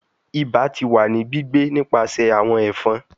Iba ti wa ni gbigbe nipasẹ awọn ẹfọn